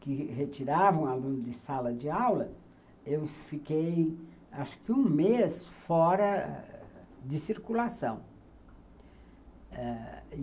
que retiravam aluno de sala de aula, eu fiquei, acho que um mês, fora de circulação ãh